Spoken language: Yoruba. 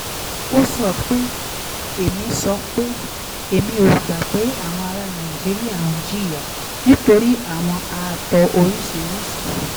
ó sọ pé: èmi sọ pé: èmi ò gbà pé àwọn ará nàìjíríà ń jìyà nítorí àwọn ààtò oríṣiríṣi